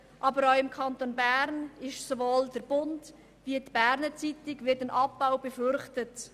Und auch im Kanton Bern wird sowohl bei «Der Bund» wie bei der «Berner Zeitung» ein Abbau befürchtet.